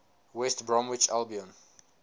west bromwich albion